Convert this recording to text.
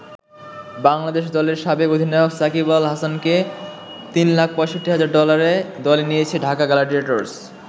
বাংলাদেশ দলের সাবেক অধিনায়ক সাকিব আল হাসানকে তিন লাখ ৬৫ হাজার ডলারে দলে নিয়েছে ঢাকা গ্লাডিয়েটর্স।